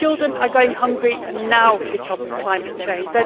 Their children are going hungry now because of climate change.